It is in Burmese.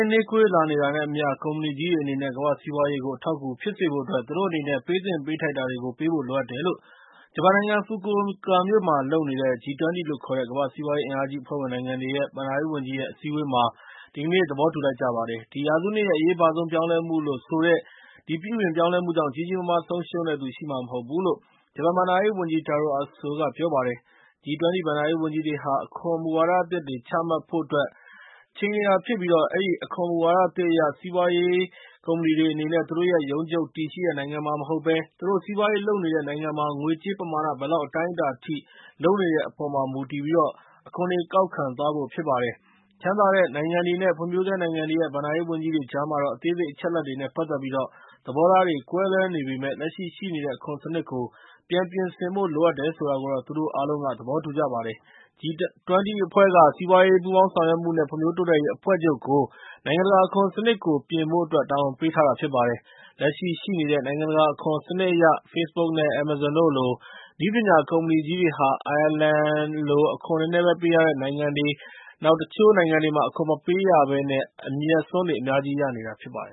ေးနှေးကွေးလာနေတာနဲ့ အမျှ ကုမ္ပဏီကြီးတွေအနေနဲ့ ကမ္ဘာ့စီးပွားရေးကို အထောက်အကူဖြစ်စေဖို့အတွက် သူတို့အနေနဲ့ ပေးသင့်ပေးထိုက်တာတွေကို ပေးဖို့လိုအပ်နေတယ်လို့ ဂျပန်နိုင်ငံ Fukuoka မြို့မှာပြုလုပ်နေတဲ့ G-20 လို့ခေါ်တဲ့ ကမ္ဘာ့စီးပွားရေးအင်အားကြီးအဖွဲ့ဝင်နိုင်ငံများရဲ့ ဘဏ္ဍာရေးဝန်ကြီးတွေရဲ့ အစည်းအဝေးမှာ ဒီကနေ့ သဘောတူလိုက်ကြပါတယ်။ ဒီရာစုနှစ်ရဲ့ အရေးပါဆုံးပြောင်းလဲမှုလို့ဆိုတဲ့ ဒီပြုပြင်ပြောင်းလဲမှုကြောင့် ကြီးကြီးမားမားဆုံးရှုံးတဲ့သူရှိမှာ မဟုတ်ဘူးလို့ ဂျပန်ဘဏ္ဍာရေးဝန်ကြီး Taro Aso က ပြောပါတယ်။ G-20 ဘဏ္ဍာရေးဝန်ကြီးတွေဟာ အခွန်မူဝါဒအသစ်တွေ ချမှတ်ဖို့အတွက် ချိန်နေကြတာဖြစ်ပြီး အဲဒီ အခွန်မူဝါဒသစ်အရ စီးပွားရေးကုမ္ပဏီတွေအနေနဲ့ သူတို့ရဲ့ ရုံးချုပ်တည်ရှိတဲ့နိုင်ငံမှာမဟုတ်ဘဲ သူတို့စီးပွားရေးလုပ်နေတဲ့နိုင်ငံမှာ ငွေကြေးပမာဏ ဘယ်လောက်အတိုင်းအတာအထိ လုပ်တဲ့အပေါ်မှာ မူတည်ပြီး ကောက်ခံသွားဖို့ ဖြစ်ပါတယ်။ ချမ်းသာတဲ့ နိုင်ငံတွေနဲ့ ဖွံ့ဖြိုးဆဲနိုင်ငံတွေရဲ့ ဘဏ္ဍာရေးဝန်ကြီးတွေကြားမှာတော့ အသေးစိတ် အချက်အလက်တွေနဲ့ ပတ်သက်ပြီး သဘောထားတွေနဲ့ ကွဲလွဲနေပေမယ့်လည်း လက်ရှိရှိနေတဲ့ အခွန်စနစ်ကို ပြန်ပြင်ဆင်ဖို့ လိုအပ်တယ်ဆိုတာကိုတော့ သူတို့ အားလုံး သဘောတူကြပါတယ်။ G-20 အဖွဲ့က စီးပွားရေး ပူးပေါင်းဆောင်ရွက်မှုနဲ့ ဖွံ့ဖြိုးတိုးတက်ရေးအဖွဲ့ချုပ်ကို နိုင်ငံတကာအခွန်စနစ်ကို ပြင်ဖို့အတွက် တာဝန်ပေးထားတာ ဖြစ်ပါတယ်။ လက်ရှိရှိနေတဲ့ နိုင်ငံတကာအခွန်စနစ်အရ Facebook နဲ့ Amazon တို့လို နည်းပညာကုမ္ပဏီကြီးတွေဟာ အိုင်ယာလန်လို အခွန်နည်းနည်းပဲ ပေးရတဲ့နိုင်ငံတွေ နဲ့ တချို့နိုင်ငံတွေမှာ အခွန်မပေးရဘဲ အမြတ်အစွန်းတွေ အများကြီးရနေတာ ဖြစ်ပါတယ